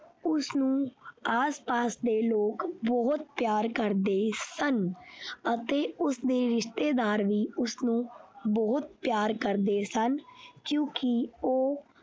ਉਸਨੂੰ ਆਸਪਾਸ ਦੇ ਲੋਗ ਬਹੁਤ ਪਿਆਰ ਕਰਦੇ ਸਨ ਅਤੇ ਉਸਦੇ ਰਿਸ਼ਤੇਦਾਰ ਵੀ ਉਸਨੂੰ ਬਹੁਤ ਪਿਆਰ ਕਰਦੇ ਸਨ ਕਿਉਂਕਿ ਉਹ।